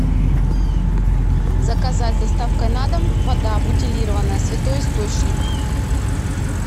заказать с доставкой на дом вода бутилированная святой источник